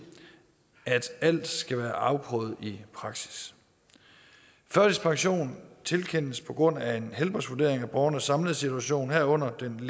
at alt skal være afprøvet i praksis førtidspension tilkendes på grund af en helbredsvurdering af borgernes samlede situation herunder den